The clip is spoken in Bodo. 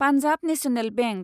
पान्जाब नेशनेल बेंक